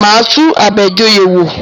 Máa tún Abejoye wò.